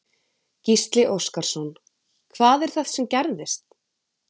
Gísli Óskarsson: Hvað er það sem gerðist?